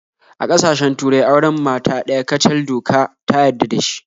A kasashen turai auren mata ɗaya kacal doka ta yadda da dashi